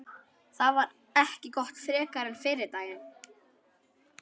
Það var ekki gott frekar en fyrri daginn.